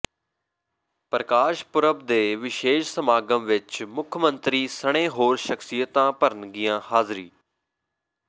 ਪ੍ਰਕਾਸ਼ ਪੁਰਬ ਦੇ ਵਿਸ਼ੇਸ਼ ਸਮਾਗਮ ਵਿਚ ਮੁੱਖ ਮੰਤਰੀ ਸਣੇ ਹੋਰ ਸਖਸੀਅਤਾਂ ਭਰਨਗੀਆਂ ਹਾਜ਼ਰੀ